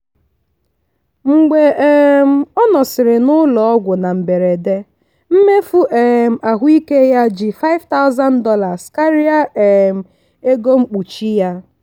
mgbe um ọ nọsịrị n'ụlọ ọgwụ na mberede mmefu um ahụike ya ji $5000 karịa um ego mkpuchi ya.